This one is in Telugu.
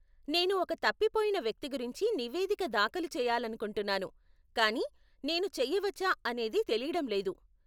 నేను ఒక తప్పిపోయిన వ్యక్తి గురించి నివేదిక దాఖలు చేయాలనుకుంటున్నాను కానీ, నేను చేయవచ్చా అనేది తెలీడం లేదు.